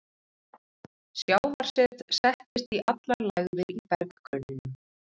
Sjávarset settist í allar lægðir í berggrunninum.